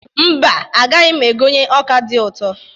Mba, agaghị m egonye ọ́kà dị ụtọ.